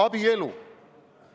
Abielu!